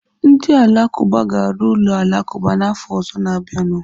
Ndị Alakụba ga-arụ ụlọ alakụba n'afọ ọzọ na-abịanụ.